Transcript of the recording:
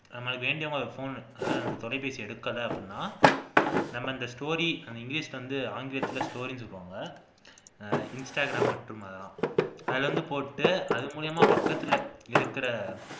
நம்ம வேண்டியவங்களுக்கு phone அதாவது அந்த தொலைபேசி எடுக்கல அப்படின்னா நம்ம இந்த story english ல வந்து ஆங்கிலத்துல story னு போங்க ஹம் instagram மட்டும் அதுல வந்து போட்டுட்டு அது மூலமா பக்கத்துல இருக்கிற